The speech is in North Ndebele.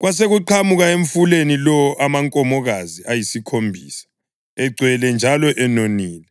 kwasekuqhamuka emfuleni lowo amankomokazi ayisikhombisa, egcwele njalo enonile,